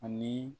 Ani